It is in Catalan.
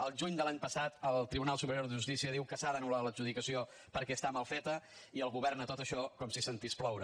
el juny de l’any passat el tribunal superior de justícia diu que s’ha d’anular l’adjudicació perquè està mal feta i el govern a tot això com si sentís ploure